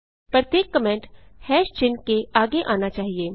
प्रत्येक कमेंट चिन्ह के आगे आना चाहिए